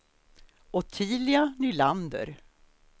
Ottilia Nylander